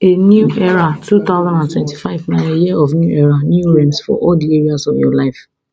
a new era two thousand and twenty-five na your year of new era new realms for all di areas of your life